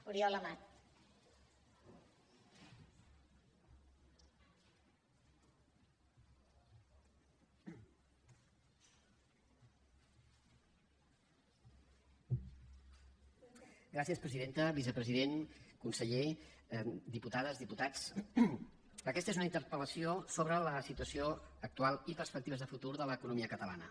vicepresident conseller diputades diputats aquesta és una interpel·lació sobre la situació actual i perspectives de futur de l’economia catalana